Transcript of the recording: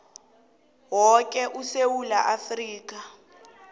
woke esewula afrika